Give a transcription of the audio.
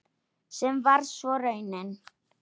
Sem varð svo raunin.